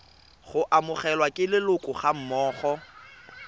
go amogelwa ke leloko gammogo